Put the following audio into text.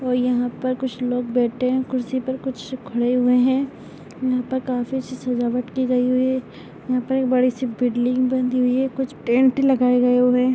और यहाँ पर कुछ लोग बैठे है कुर्सी पर कुछ खड़े हुए हैं यहाँ पर काफी अच्छी सजावट की गई हुई है यहाँ पर एक बड़ी सी बीडलिंग बनी हुई है कुछ टेंट लगा हुआ है ।